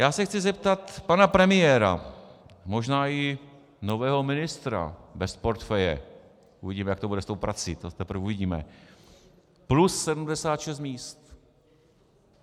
Já se chci zeptat pana premiéra, možná i nového ministra bez portfeje, uvidíme, jak to bude s tou prací, to teprve uvidíme - plus 76 míst.